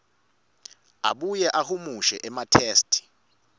abuye ahumushe ematheksthi